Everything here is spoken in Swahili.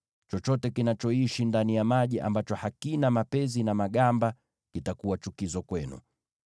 Chochote kinachoishi ndani ya maji ambacho hakina mapezi na magamba kitakuwa chukizo kwenu.